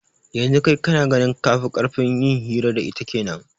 Yanzu kai kana ganin kafi karfin yin hira da ita kenan